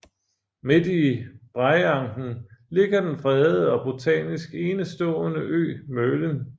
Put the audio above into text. Midt i Breiangen ligger den fredede og botanisk enestående ø Mølen